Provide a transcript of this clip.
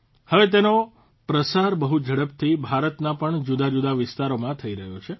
હવે તેનો પ્રસાર બહુ ઝડપથી ભારતના પણ જુદાજુદા વિસ્તારોમાં થઇ રહ્યો છે